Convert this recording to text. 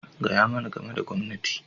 Gaya mani game da gwamnati!